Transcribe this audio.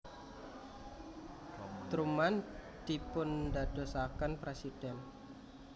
Truman dipundadosaken presiden